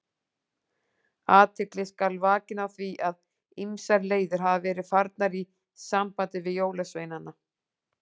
Athygli skal vakin á því að ýmsar leiðir hafa verið farnar í sambandi við jólasveinana.